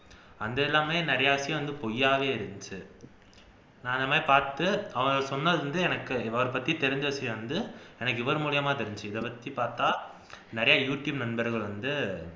அந்த எல்லாமே நிறைய விஷயம் பொய்யாவே இருந்துச்சு நான் இந்த மாதிரி பாத்து அவர் சொன்னது வந்து இவரைப்பத்தி தெரிஞ்ச விஷயம் வந்து எனக்கு இவர் மூலமா தெரிஞ்சிது இதை வச்சி பாத்தா நிறைய யூடியூப் நண்பர்கள் வந்து